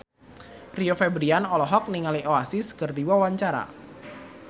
Rio Febrian olohok ningali Oasis keur diwawancara